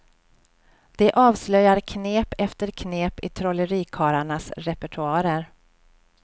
De avslöjar knep efter knep i trollerikarlarnas repertoarer.